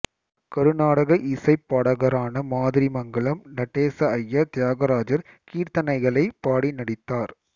கருநாடக இசைப் பாடகரான மாதிரிமங்கலம் நடேச ஐயர் தியாகராஜர் கீர்த்தனைகளைப் பாடி நடித்தார்